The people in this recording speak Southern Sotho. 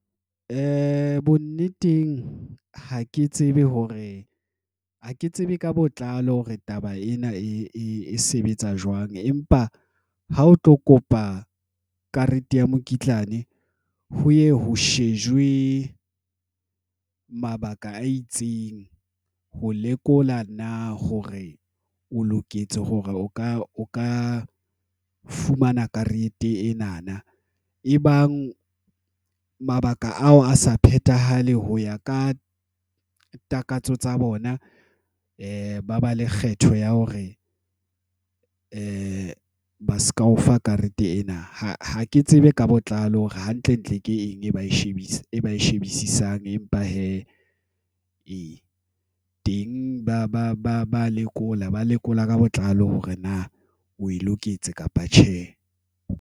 Bonneteng ha ke tsebe hore ha ke tsebe ka botlalo hore taba ena e sebetsa jwang, empa ha o tlo kopa karete ya mokitlane ho ye ho shejwe mabaka a itseng ho lekola na hore o loketse hore o ka o ka fumana karete ena na. Ebang nka mabaka ao a sa phethahale ho ya ka takatso tsa bona. Ba ba le kgetho ya hore ba se ka o fa karete ena. Ha ke tsebe ka bona letlalo hore hantlentle ke eng e ba e etsang. Empa hee teng ba ba ba ba lekola ba lekola ka botlalo hore na o loketse kapa tjhe.